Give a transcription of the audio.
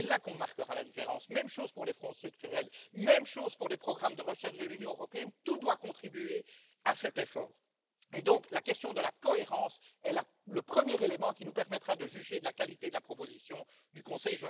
C'est là qu'on marquera la différence. Même chose pour les fonds structurels, même chose pour les programmes de recherche de l'Union européenne tout doit contribuer à cet effort. Et donc, la question de la cohérence est le premier élément qui nous permettra de juger de la qualité de la proposition du Conseil.